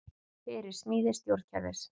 Fyrir smíði stjórnkerfis